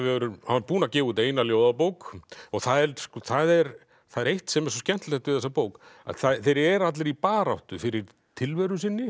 var búinn að gefa út eina ljóðabók það er það er það er eitt sem er svo skemmtilegt við þessa bók að þeir eru allir í baráttu fyrir tilveru sinni